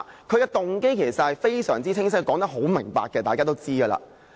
他的動機其實非常清晰，他說得很明白，這是大家也知道。